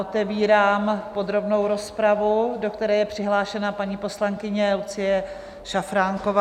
Otevírám podrobnou rozpravu, do které je přihlášena paní poslankyně Lucie Šafránková.